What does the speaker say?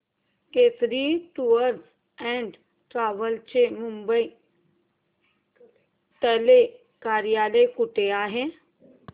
Kesari tours and travels चे मुंबई तले कार्यालय कुठे आहे